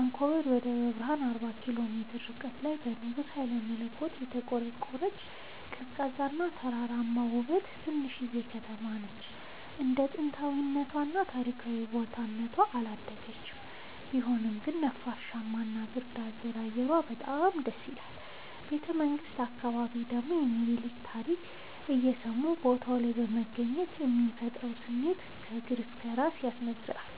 አንኮበር ከደብረ ብረሃን አርባ ኪሎ ሜትር ርቀት ላይ በንጉስ ሀይለመለኮት የተቆረቆረች፤ ቀዝቃዛ እና ተራራማ ውብ ትንሽዬ ከተማነች እንደ ጥንታዊ እና ታሪካዊ ቦታ እነቷ አላደገችም ቢሆንም ግን ነፋሻማ እና ብርድ አዘል አየሯ በጣም ደስይላል። ቤተመንግቱ አካባቢ ደግሞ የሚኒልክን ታሪክ እየሰሙ ቦታው ላይ መገኘት የሚፈጥረው ስሜት ከእግር እስከ እራስ ያስነዝራል።